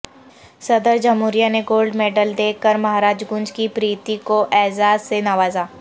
صدر جمہوریہ نے گولڈ میڈل دے کر مہاراج گنج کی پریتی کو اعزاز سے نوازا